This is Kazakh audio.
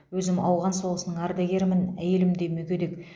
өзім ауған соғысының ардагерімін әйелім де мүгедек